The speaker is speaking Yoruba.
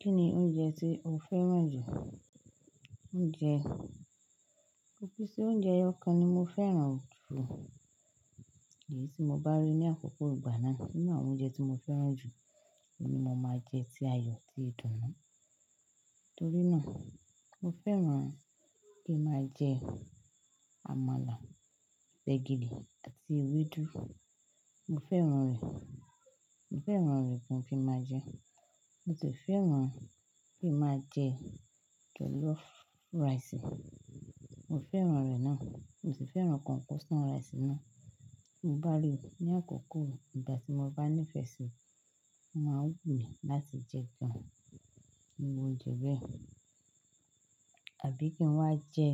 Kí ni oúnjẹ tí o fẹ́ràn jù? Oúnjẹ, ọ̀pọ̀lọpọ̀ oúnjẹ ọkàn ni mo fẹ́ràn jù èyí tí mo bá rí ní àkókò ìgbà náà. Nínú àwọn oúnjẹ tí mo fẹ́ràn jù ni mo máa jẹ ti a yọ ti ìdùnnú. Nítorí náà, mo fẹ́ràn kí n máa jẹ amala, gbẹ̀gìrì àti ewédú. Mo fẹ́ràn rẹ̀, mo fẹ́ràn rẹ̀ gan kí n máa jẹ ẹ́. Mo sì fẹ́ràn kí n máa jẹ jollof rice. Mo fẹ́ràn rẹ̀ náà. Mo sì fẹ́ràn concoction rice náà. Mo bá rí i ní àkókò ìgbà tí mo bá nífẹ̀ẹ́ sí i, máa wù mí láti jẹ gan-an ohun oúnjẹ bẹ́ẹ̀. Àbí kí n wá jẹ,